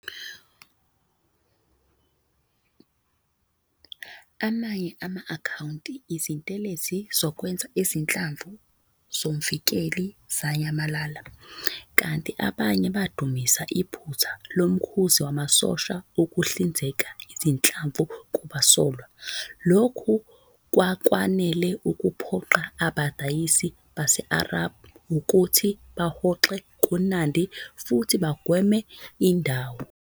Amanye ama-akhawunti Izintelezi zokwenza izinhlamvu zomvikeli zanyamalala, kanti abanye badumisa iphutha lomkhuzi wamasosha ukuhlinzeka izinhlamvu kubasolwa. Lokhu kwakwanele ukuphoqa abadayisi base-Arab ukuthi bahoxe kuNandi futhi bagweme indawo.